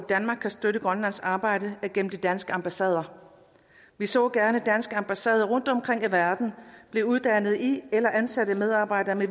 danmark kan støtte grønlands arbejde er gennem de danske ambassader vi så gerne danske ambassader rundtomkring i verden blev uddannet i grønlandske eller ansatte medarbejdere